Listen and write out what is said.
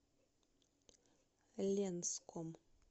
ленском